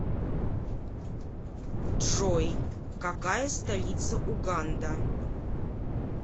джой какая столица уганда